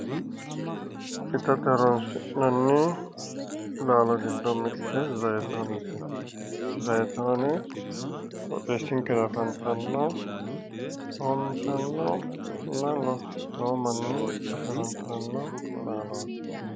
Itate horonsi'nanni laalo giddo mitte zaayitoonete, zaayitoone irshinkera afantanno coommitannonna losi'nooy manni afe horonsi'ranno laalooti.